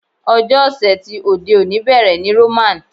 Ọjọ́ ọ̀sẹ̀ ti òde òní bẹ̀rẹ̀ ní Roman.